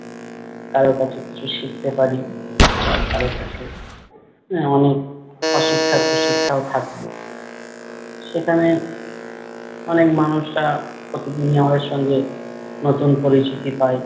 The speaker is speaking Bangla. কারো কাছে কিছু শিখতে পারি। আবার কারো কাছে আহ অনেক অশিক্ষা কুশিক্ষাও থাকে। সেখানে অনেক মানুষরা প্রতিদিনই আমাদের সঙ্গে নতুন পরিচিতি পাই।